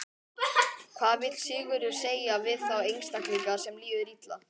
Hvað vill Sigurður segja við þá einstaklinga sem líður illa?